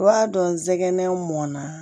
I b'a dɔn nsɛgɛnna